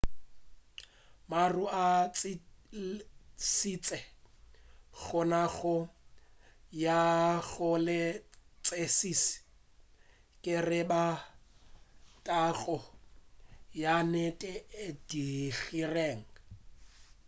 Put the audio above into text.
maru a tlišitše kgonagalo ya go se kwešiši ge e ba thakgolo ya nnete e diregile